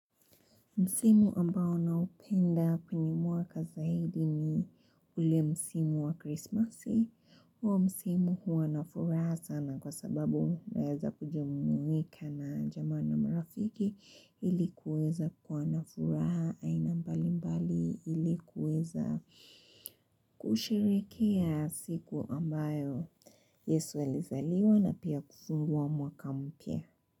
Msimu ambao naupenda kwenye mwaka zaidi ni ule msimu wa Krismasi. Huwa msimu huwa nafuraha sana kwa sababu naweza kujumuika na jamaa na marafiki ili kuweza kwa nafuraha aina mbali mbali ili kuweza kusherehekea siku ambayo Yesu alizaliwa na pia kufungua mwaka mpya.